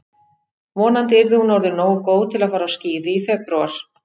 Vonandi yrði hún orðin nógu góð til að fara á skíði í febrúar.